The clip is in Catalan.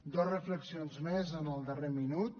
dos reflexions més en el darrer minut